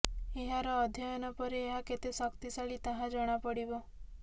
ଏହାର ଅଧ୍ୟୟନ ପରେ ଏହା କେତେ ଶକ୍ତିଶାଳୀ ତାହା ଜଣାପଡ଼ିବ